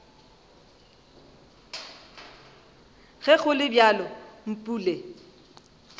ge go le bjalo mpule